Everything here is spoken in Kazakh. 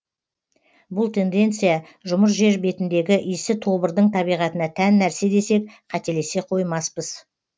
бұл тенденция жұмыр жер бетіндегі исі тобырдың табиғатына тән нәрсе десек қателесе қоймаспыз